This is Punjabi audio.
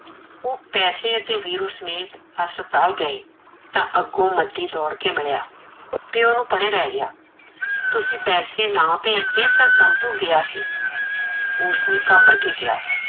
ਓਹ ਪੈਸੇ ਤੇ ਵੀਰੂ ਸਮੇਤ ਹਸਪੀਤਾਲ ਗਏ, ਤਾਂ ਅੱਗੋਂ ਮਦੀ ਦੋੜ ਕੇ ਮਿਲਿਆ, ਪਿਓ ਨੂੰ ਪਰੇ ਲੈ ਗਿਆ ਤੁਸੀਂ ਪੈਸੇ ਨਾਂ ਭੇਜਦੇ ਤਾਂ ਕੰਤੁ ਗਿਆ ਸੀ। ਉਸਨੇ ਘਾਬਰ ਕੇ ਕਿਆ